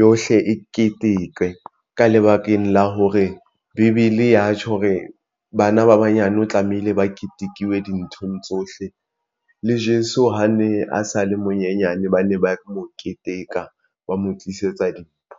yohle e keteke ka lebakeng la hore bibele e ya tjho hore bana ba banyane o tlamehile ba ketekuwe dinthong tsohle. Le Jeso ha ne a sa le monyenyane ba ne ba mo keteka ba mo tlisetsa dimpho.